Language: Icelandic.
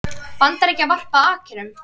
Bandaríkjanna varpað akkerum.